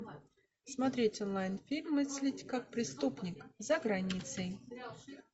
смотреть онлайн фильм мыслить как преступник за границей